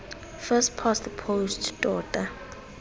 first past the post tota